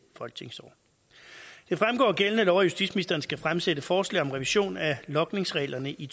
folketingsår det fremgår af gældende lov at justitsministeren skal fremsætte forslag om revision af logningsreglerne i